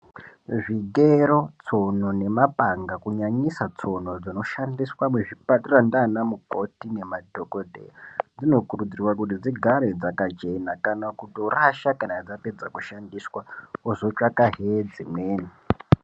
Zvigero , tsono nemapanga kunyanyisa tsono dzinoshandiswa muzvipatara ndanamukoti nemadhokodheya dzinokurudzirwa kuti dzigare dzakachena , kana kutorasha kana dzapedzwa kutoshandiswa vozotsvakahe dzimweni.